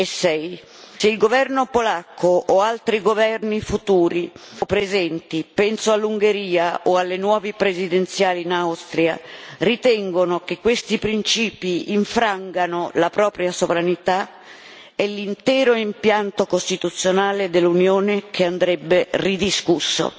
e 6. Se il governo polacco o altri governi futuri o presenti penso all'Ungheria o alle nuove presidenziali in Austria ritengono che questi principi infrangano la propria sovranità, è l'intero impianto costituzionale dell'Unione che andrebbe ridiscusso.